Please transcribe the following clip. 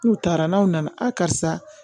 N'u taara n'aw nana a karisa